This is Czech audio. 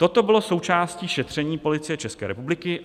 Toto bylo součástí šetření Policie České republiky.